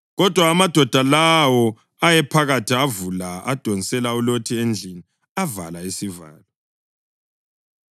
Kodwa amadoda lawo ayephakathi avula adonsela uLothi endlini avala isivalo.